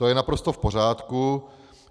To je naprosto v pořádku.